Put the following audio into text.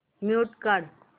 mute काढ